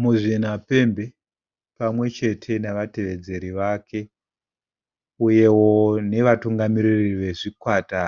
Muzvinapembe pamwe chete nevatevedzeri vake uyewo nevatungamiriri vezvikwata